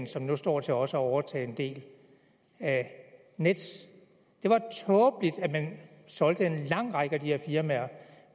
som nu står til også at overtage en del af nets det var tåbeligt at man solgte en lang række af de her firmaer